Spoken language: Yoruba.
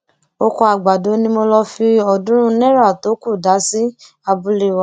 ọkọ àgbàdo ni mo lọọ fi ọọdúnrún náírà tó kù dá sí abúlé wa